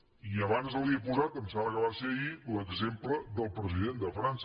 i abans li he posat em sembla que va ser ahir l’exemple del president de frança